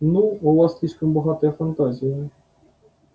ну у вас слишком богатая фантазия